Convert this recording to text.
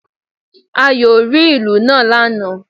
Ayò ó rí ìlù náà lánàà